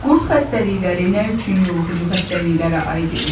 Qurd xəstəlikləri nə üçün yoluxucu xəstəliklərə aid edilir?